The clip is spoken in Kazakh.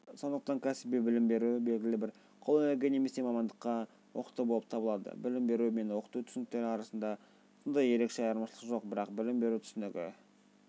сондықтан кəсіби білім беру белгілі бір қолөнерге немесе мамандыққа оқыту болып табылады білім беру мен оқыту түсініктері арасында сондай ерекше айырмашылық жоқ бірақ білім беру түсінігі